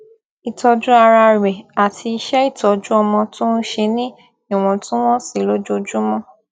ìtọjú ara rẹ àti iṣẹ ìtọjú ọmọ tó n ṣe ní ìwọntúnwọnsí lójoojúmọ